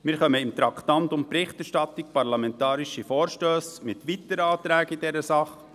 Wir kommen beim Traktandum «Berichterstattung Parlamentarische Vorstösse» mit weiteren Anträgen in dieser Sache.